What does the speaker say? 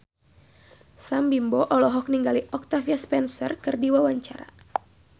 Sam Bimbo olohok ningali Octavia Spencer keur diwawancara